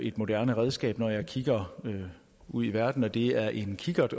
et moderne redskab når jeg kigger ud i verden det er en kikkert